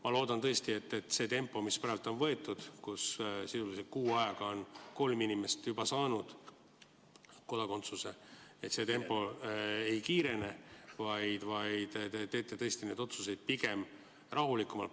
Ma loodan tõesti, et see tempo, mis praegu on võetud, nii et sisuliselt kuu ajaga on juba kolm inimest saanud kodakondsuse, ei kiirene, vaid te teete neid otsuseid rahulikumalt.